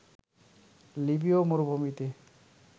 লিবীয় মরুভূমিতে